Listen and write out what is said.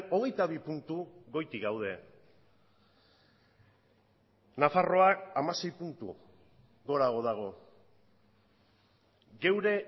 hogeita bi puntu goitik gaude nafarroak hamasei puntu gorago dago geure